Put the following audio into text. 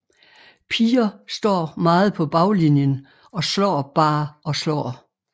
Piger står meget på baglinjen og står bare og slår